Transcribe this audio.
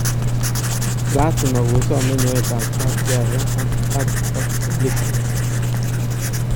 " laasima kosoome nyoetab kaat Yaya ak Hart ak Pellegrini